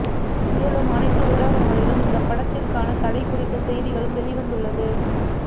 மேலும் அனைத்து ஊடகங்களிலும் இந்த படத்திற்கான தடை குறித்த செய்திகளும் வெளிவந்துள்ளது